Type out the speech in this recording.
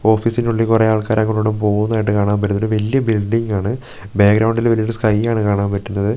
ഓഫീസിന്റെ ഉള്ളിൽ കുറേ ആൾക്കാര് അങ്ങോട്ടും ഇങ്ങോട്ടും പോകുന്നതായിട്ട് കാണാൻ പറ്റുന്നുണ്ട് ഒരു വലിയ ബിൽഡിംഗ്‌ ആണ് ബാക്ക്ഗ്രൗണ്ടിൽ ഒരു വലിയ സ്കൈ ആണ് കാണാൻ പറ്റുന്നത് പിന്നെ നല്ല രീതി--